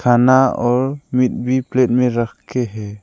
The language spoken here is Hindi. खाना और मिट भी प्लेट में रख के है।